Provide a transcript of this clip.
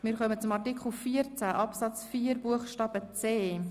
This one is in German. Wir kommen nun zu Artikel 14 Absatz 4 Buchstabe c.